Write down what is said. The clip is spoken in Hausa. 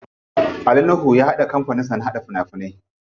Ali nuhu ya buɗe kampanin da na haɗa fim.